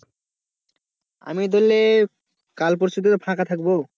আমি ধরলে কাল পরশু থেকে ফাঁকা থাকবো।